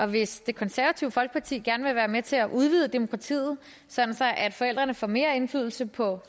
hvis det konservative folkeparti gerne vil være med til at udvide demokratiet sådan at forældrene får mere indflydelse på